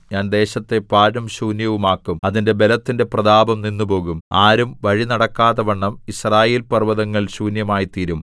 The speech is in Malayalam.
ഞാൻ ദേശത്തെ പാഴും ശൂന്യവും ആക്കും അതിന്റെ ബലത്തിന്റെ പ്രതാപം നിന്നുപോകും ആരും വഴിനടക്കാത്തവണ്ണം യിസ്രായേൽപർവ്വതങ്ങൾ ശൂന്യമായിത്തീരും